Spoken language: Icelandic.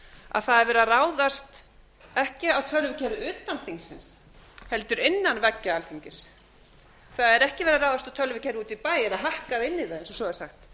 er verið að ráðast ekki af tölvukerfi utan þingsins heldur innan veggja alþingis það er ekki verið að ráðast á tölvukerfið úti í bæ eða hakka inn í það eins og svo er sagt